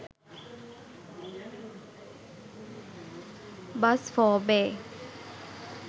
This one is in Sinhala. bus for bay